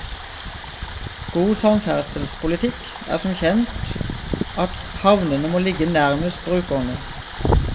God samferdselspolitikk er som kjent at havnene må ligge nærmest brukerne.